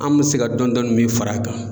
An bɛ se ka dɔɔni dɔɔni min fara a kan.